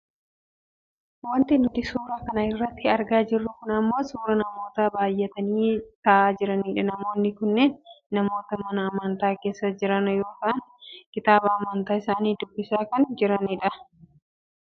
Wanti nuti suuraa kana irratti argaa jirru kun ammoo suuraa namoota baayyatanii taa'aa jiranidha. Namoonni kunneen namoota mana amantaa keessa jiran yoo ta'an kitaaba amantaa isaanii dubbisaa kan jirani dha.